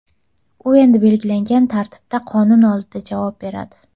U endi belgilangan tartibda qonun oldida javob beradi.